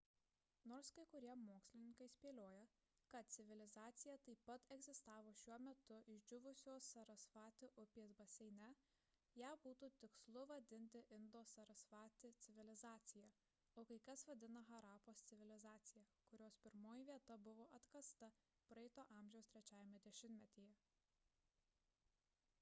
nors kai kurie mokslininkai spėlioja kad civilizacija taip pat egzistavo šiuo metu išdžiūvusios sarasvati upės baseine ją būtų tikslu vadinti indo-sarasvati civilizacija o kai kas vadina harapos civilizacija kurios pirmoji vieta buvo atkasta praeito amžiaus trečiajame dešimtmetyje